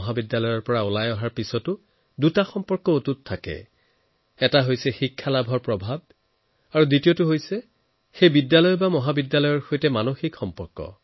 school কলেজৰ পৰা ওলোৱাৰ পিছত দুটা বস্তু কেতিয়াও শেষ নহয়এক আপোনাৰ শিক্ষাৰ প্ৰভাৱ আৰু দ্বিতীয় আপোনাৰ নিজৰ স্কুল কলেজৰ সৈতে সম্পৰ্ক